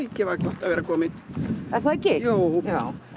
að vera komin er það ekki jú